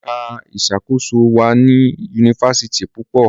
Èka ìṣàkóso wá ní Yunifásitì púpọ.